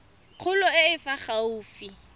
kgolo e e fa gaufi